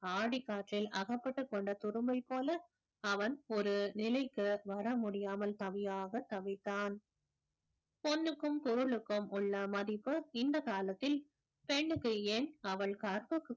ஆடிக்காற்றில் அகப்பட்டுக்கொண்ட துரும்பைப் போல அவன் ஒரு நிலைக்கு வர முடியாமல் தவியாக தவித்தான் பொண்ணுக்கும் பொருளுக்கும் உள்ள மதிப்பு இந்த காலத்தில் பெண்ணுக்கு ஏன் அவள் கற்பு